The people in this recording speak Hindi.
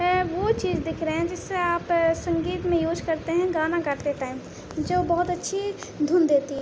ह ओ चीज दिख रहे हैं जिससे आप संगीत में यूज़ करते है गाना गाते टाइम जो बहुत अच्छी धुन देती है।